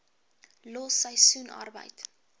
los seisoensarbeid